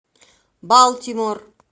балтимор